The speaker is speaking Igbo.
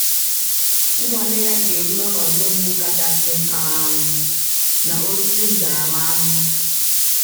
Nnwale ya ga-eru n’ọnọdụ mgbu kachasị um na osisi ntaramahụhụ.